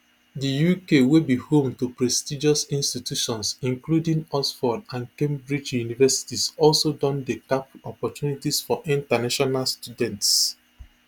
di uk wey be home to prestigious institutions including oxford and cambridge universities also don dey cap opportunities for international students